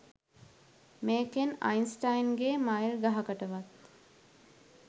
මේකෙන් අයින්ස්ටයින්ගේ මයිල් ගහකටවත්